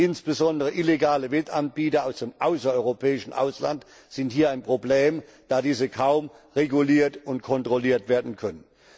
Insbesondere illegale Wettanbieter aus dem außereuropäischen Ausland sind hier ein Problem, da diese kaum reguliert und kontrolliert werden können.